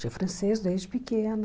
Tive francês desde pequena.